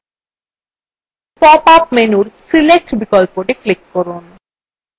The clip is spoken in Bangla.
এখন pop up menu select বিকল্পটি click করুন